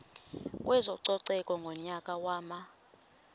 kwezococeko ngonyaka wama